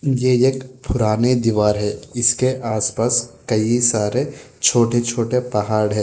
ये एक पुराने दीवार है इसके आसपास कई सारे छोटे छोटे पहाड़ है।